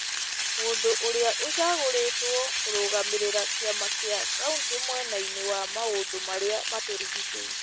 Mũndũ ũrĩa ũcagũrĩtwo kũrũgamĩrĩra kĩama gia Kauntĩ mwena-inĩ wa maũndũ marĩa matũrigicĩirie.